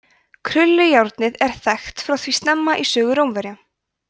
krullujárnið er þekkt frá því snemma í sögu rómverja